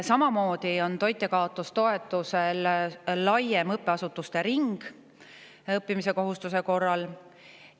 Samamoodi on toitjakaotustoetuse puhul laiem õppeasutuste ring õppimise kohustuse korral.